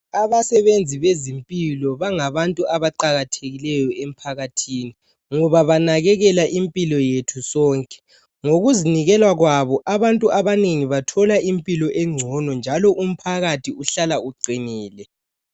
Abasebenzi bezempilakahle bangabantu abaqakathekileyo emphakathini ngoba banakekela impilo yethu sonke ngokuzinikela kwabo abantu abanengi bathola impilo engcono njalo umphakathi uhlala uqinile..